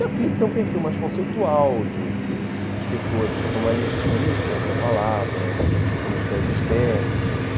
E a Flip tem um perfil mais conceitual de de de escritores que são mais estilistas da palavra, com ambições estéticas.